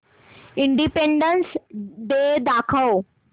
independence Day दाखव